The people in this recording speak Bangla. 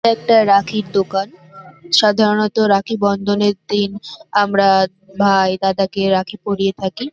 এটা একটা রাখীর দোকান। সাধারণত রাখী বন্ধনের দিন আমরা ভাই দাদাকে রাখী পড়িয়ে থাকি।